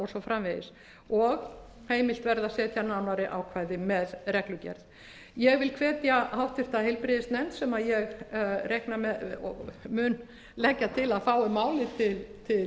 framvegis og heimilt verði að setja nánari ákvæði með reglugerð ég vil hvetja háttvirtur heilbrigðisnefnd sem ég mun leggja til að fái málið til